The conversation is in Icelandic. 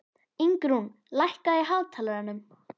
Ingrún, lækkaðu í hátalaranum.